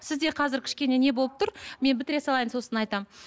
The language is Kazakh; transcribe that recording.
сізде қазір кішкене не болып тұр мен бітіре салайын сосын айтамын